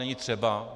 Není třeba.